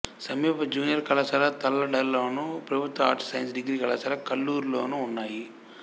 సమీప జూనియర్ కళాశాల తల్లాడలోను ప్రభుత్వ ఆర్ట్స్ సైన్స్ డిగ్రీ కళాశాల కల్లూరులోనూ ఉన్నాయి